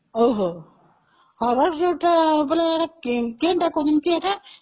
ଓହୋ, ମାନେ କଣ କହୁଛନ୍ତି ଏଇଟା